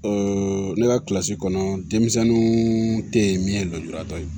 ne ka kilasi kɔnɔ denmisɛnninw tɛ yen min ye lujuratɔ ye